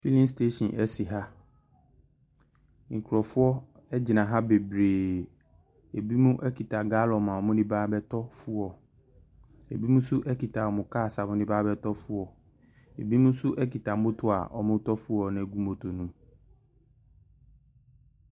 Filling station si ha. Nkurɔfoɔ gyina ha bebree. Binom kita gallon a wɔde reba abɛtɔ fuel. Binom nso kita wɔn cars a wɔde deba abɛtɔ fuel. Binom nso kita motor a wɔretɔ fuel no agu motor no mu.